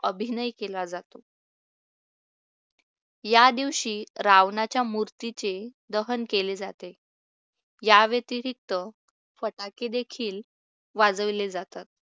अभिनय केला जातो. या दिवशी रावणाच्या मूर्तीचे दहन केले जाते. या व्यतिरिक्त फटाके देखील वाजवले जातात.